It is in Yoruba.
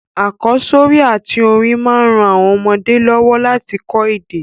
Àkósórí àtí orin ma n ran àwon ọmọdé lọ́wọ́ láti ko èdè